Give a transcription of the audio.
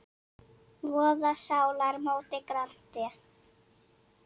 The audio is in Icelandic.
voða sálar móti grandi.